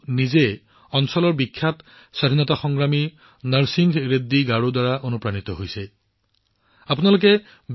তেওঁ নিজৰ অঞ্চলৰ বিখ্যাত স্বাধীনতা সংগ্ৰামী নৰসিংহ ৰেড্ডী গাৰুজীৰ দ্বাৰা যথেষ্ট অনুপ্ৰাণিত হৈছে